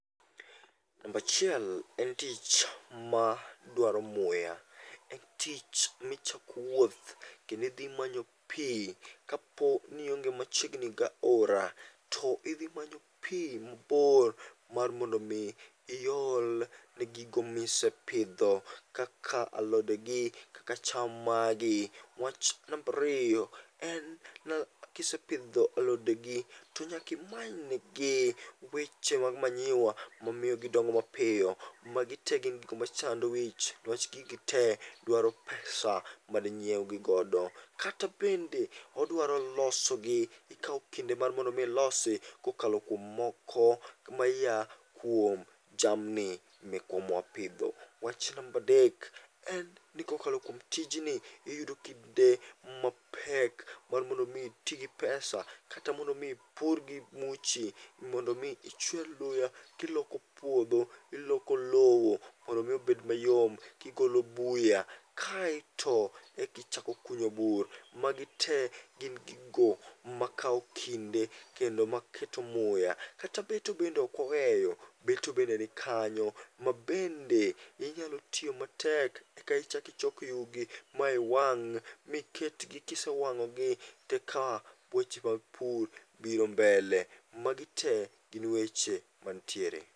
Nambachiel en tich ma dwaro muya, en tich michako wuoth kendi dhi manyo pi kapo nionge machiegni gaora. To idhi manyo pi mabor mar mondo mi iol ne gigo misepidho kaka alode gi kaka cham magi. Wach marariyo, kisepidho alode gi to nyaka imanyne gi weche mag manyiwa, momiyo gidongo mapiyo. Magi te gin gigo machando wich, newach gigi te dwaro pesa madinyiewgi godo. Kata bende odwaro loso gi, ikawo kinde mar mondo mi ilosi kokalo kuom moko maya kuom jamni mekwa mwapidho. Wach nambadek, en ni kokalo kuom tijni, iyudo kinde mapek mar mondo mi iti gi pesa, kata mondo mi ipur gi muchi mondo mi ichwer luya kiloko puodho, iloko lowo. Mondo mi obed mayom, gigolo buya, kaeto ekichako kunyo bur. Magi te gin gigo makawo kinde, kendo maketo muya. Kata beto bende okwaweyo, beto bende nikanyo. Mabende inyalo tiyo matek, eka ichak ichok yugi, maiwang', miketgi kisewang'ogi. Teka weche mag pur biro mbele, magi te gin weche mantiere.